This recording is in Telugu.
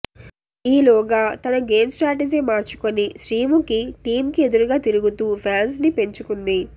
ఈలోగా తన గేమ్ స్ట్రాటజీ మార్చుకుని శ్రీముఖి టీమ్కి ఎదురు తిరుగుతూ ఫాన్స్ని పెంచుకుంది